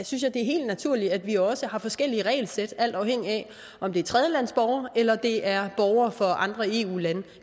synes jeg det er helt naturligt at vi også har forskellige regelsæt alt afhængigt af om det er tredjelandsborgere eller det er borgere fra andre eu lande